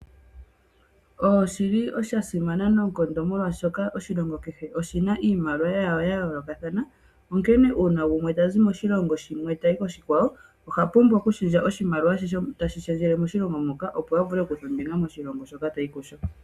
Oshili sha simana noonkondo molwaashoka oshilongo kehe oshina iimaliwa yawo yayoolokathana. Onkene uuna gumwe tazi moshilongo shimwe tayi koshikwawo, oha pumbwa okushendja oshimaliwa she teshi shendjele moshilongo moka, opo a vule okukutha ombinga moshilongo hoka tayi kusho.